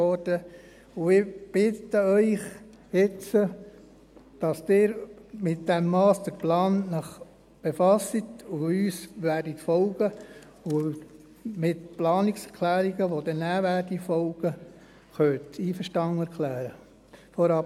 Ich bitte Sie nun, sich mit diesem Masterplan zu befassen und uns zu folgen, sodass Sie sich mit den Planungserklärungen, die nachher folgen, einverstanden erklären können.